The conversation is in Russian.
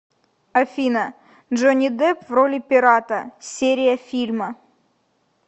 афина джонни депп в роли пирата серия фильма